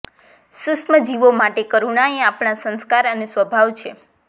સુક્ષ્મ જીવો માટે કરૂણાએ આપણા સંસ્કાર અને સ્વભાવ છે